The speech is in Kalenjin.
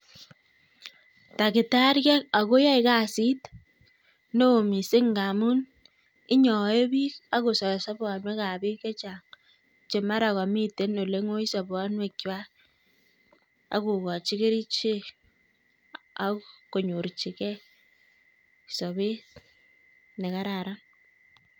Takitariek ak yoe kasit neo missing ngamun inyoe biik ak kosor sobwonekab biik chechang chemara komiten olengoi sobonwekchwak, akokochi kerichek ak konyorchigei sober nekararan